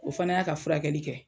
O fana y'a ka furakɛli kɛ